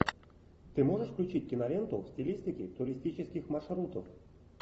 ты можешь включить киноленту в стилистике туристических маршрутов